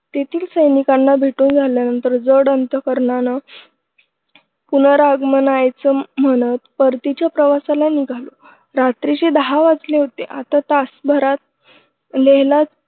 तेथील सैनिकांना भेटून झाल्यानंतर जड अंतकरणाने पुनरागमनायच म्हणत परतीच्या प्रवासाला निघालो रात्रीचे दहा वाजले होते आता तास भरात लेहला